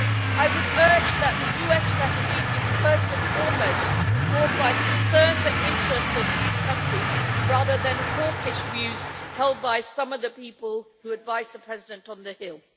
I would urge that the US strategy is first and foremost informed by the concerns and interests of these countries, rather than the hawkish views held by some of the people who advise the President on the Hill.